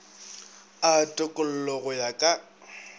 a tokollo go ya ka